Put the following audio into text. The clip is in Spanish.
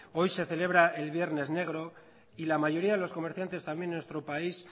hoy se celebra el viernes negro y la mayoría de los comerciantes también en nuestro país